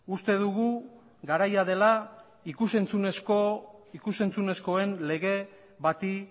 uste dugu garaia dela ikus entzunezkoen lege bati